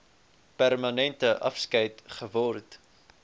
permanente afskeid geword